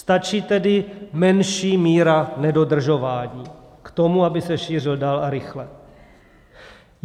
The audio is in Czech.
Stačí tedy menší míra nedodržování k tomu, aby se šířil dál a rychle.